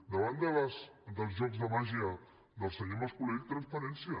davant dels jocs de màgia del senyor mas colell transparència